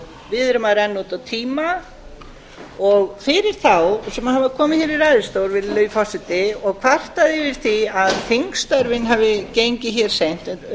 við erum að renna út á tíma fyrir þá sem hafa komið hér í ræðustól og kvartað yfir því að þingstörfin hafi gengið hér seint